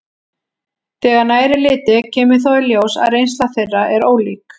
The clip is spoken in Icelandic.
Þegar nær er litið kemur þó í ljós að reynsla þeirra er ólík.